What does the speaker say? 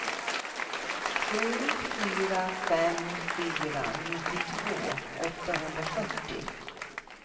sju fyra fem fyra nittiotvå åttahundrafyrtio